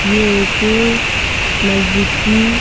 ये एक मस्जिद की--